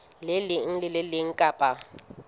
leng le le leng kapa